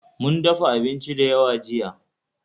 Mun dafa abinci da yawa jiya